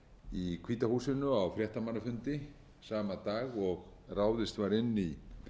í hvíta húsinu á fréttamannafundi sama dag og ráðist var inn í